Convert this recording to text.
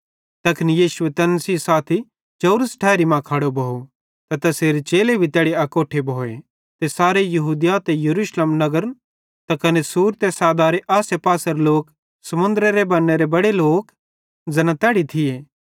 तैखन यीशु तैन सेइं साथी चौरस ठैरी मां खड़ो भोव ते तैसेरे चेले भी तैड़ी अकोट्ठे भोए ते सारे यहूदिया ते यरूशलेम नगरां त कने सूर ते सैदारे आसेपासेरे लोक समुन्दरेरे बन्नेरे बड़े लोक ज़ैना तैड़ी थिये